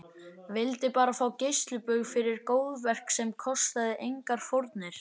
Vildi bara fá geislabaug fyrir góðverk sem kostaði engar fórnir.